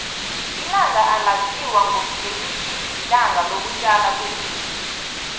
ilanga elaziwa ngelithi lilanga loku tjalwa kwemithi